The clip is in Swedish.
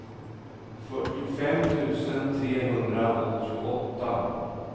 fyrtiofem tusen trehundraåttioåtta